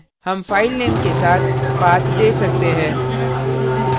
हम file के साथ path we सकते है